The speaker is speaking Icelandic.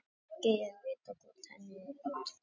Ekki er vitað hvort henni var drekkt.